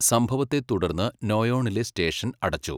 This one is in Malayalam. സംഭവത്തെ തുടർന്ന് നോയോണിലെ സ്റ്റേഷൻ അടച്ചു.